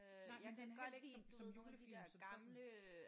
Nej men den er heller ikke som som julefilm som sådan